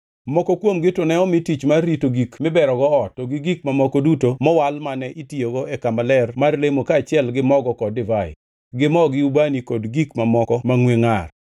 Moko kuomgi to ne omi tich mar rito gik miberogo ot to gi gik mamoko duto mowal mane itiyogo e kama ler mar lemo kaachiel gi mogo kod divai, gi mo, gi ubani kod gik moko mangʼwe ngʼar.